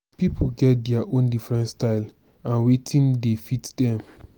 pipo get their own different style and wetin dey fit them